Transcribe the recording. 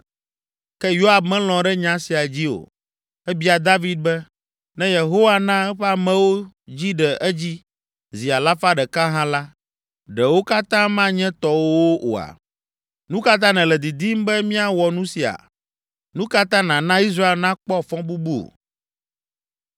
Ke Yoab melɔ̃ ɖe nya sia dzi o. Ebia David be, “Ne Yehowa na eƒe amewo dzi ɖe edzi zi alafa ɖeka hã la, ɖe wo katã manye tɔwòwo oa? Nu ka ta nèle didim be míawɔ nu sia? Nu ka ta nàna Israel nakpɔ fɔbubu?”